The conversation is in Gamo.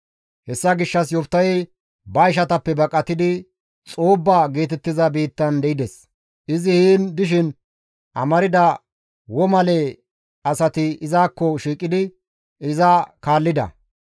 Hessa gishshas Yoftahey ba ishatappe baqatidi Xoobba geetettiza biittan de7ides; izi heen dishin amarda womale asati izakko shiiqidi iza kaallida.